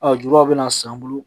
A julaw bɛ na san an bolo